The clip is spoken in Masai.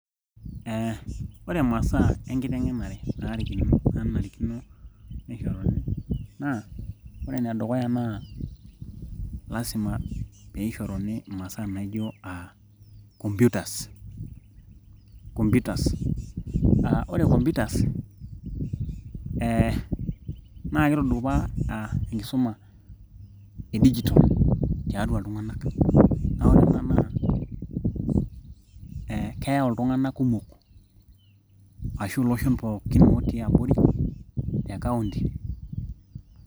eh, ore masaa enkiteng'enare nanarikino nishoruni naa ore enedukuya naa lasima peishoruni imasaa naijo uh, computers ore computers eh naa kitudupaa enkisuma e digital tiatua iltung'anak naa ore ena naa eh keyau iltung'anak kumok ashu iloshon pookin otii abori te kaunti.